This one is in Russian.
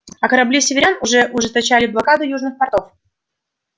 а корабли северян все ужесточали блокаду южных портов